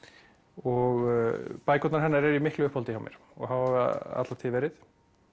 og bækurnar hennar eru í miklu uppáhaldi hjá mér og hafa alla tíð verið